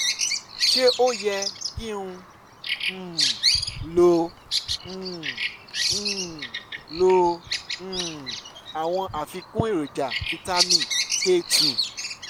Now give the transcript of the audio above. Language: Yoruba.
ṣé ó yẹ kí n um lo um um lo um àwọn àfikún èròjà fítámì k two?